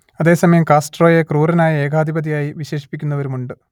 അതേ സമയം കാസ്ട്രോയെ ക്രൂരനായ ഏകാധിപതിയായി വിശേഷിപ്പിക്കുന്നവരുമുണ്ട്